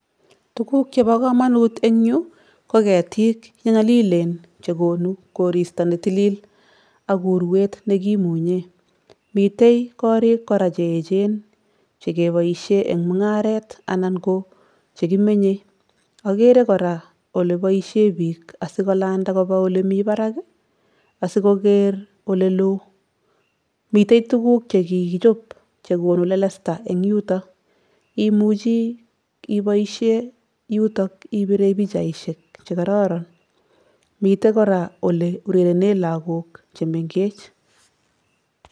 Tuguk chebo kamanut eng yu ko ketik che nyalilen che konu koristo ne tilil ak uruet ne kimunye, mitei korik kora che echen che keboisie eng mungaret anan ko chekimenye, akere kora oleboisie piik asi kolanda ole mi parak asi koker ole loo. Mitei tuguk che kikichop che konu lelesta eng yuto, imuchi iboisie yuto ibire pichaisiek che kororon, mitei kora ole urerene lagok che mengech.